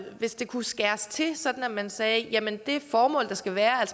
hvis det kunne skæres til sådan at man sagde at det formål der skal være er